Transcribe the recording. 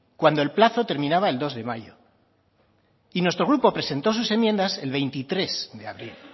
cuando el plazo terminaba el dos de mayo y nuestro grupo presentó sus enmiendas el veintitrés de abril